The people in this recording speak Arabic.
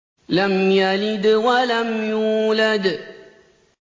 لَمْ يَلِدْ وَلَمْ يُولَدْ